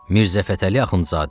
Mirzə Fətəli Axundzadə.